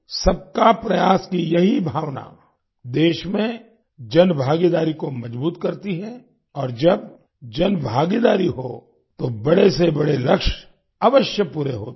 सबका प्रयास की यही भावना देश में जनभागीदारी को मजबूत करती है और जब जनभागीदारी हो तो बड़े से बड़े लक्ष्य अवश्य पूरे होते हैं